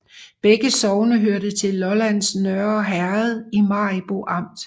Begge sogne hørte til Lollands Nørre Herred i Maribo Amt